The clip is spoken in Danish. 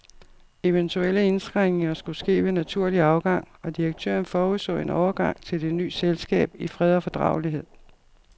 Eventuelle indskrænkninger skulle ske ved naturlig afgang, og direktøren forudså en overgang til det ny selskab i fred og fordragelighed.